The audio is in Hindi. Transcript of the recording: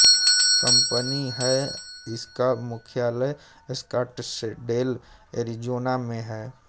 कंपनी है इसका मुख्यालय स्काटसडेल एरिज़ोना में है